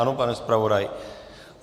Ano, pane zpravodaji?